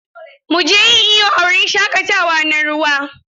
Mu je yin iyo a wurin shaƙatawa na ruwa.